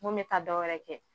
Ŋo me taa dɔ wɛrɛ kɛ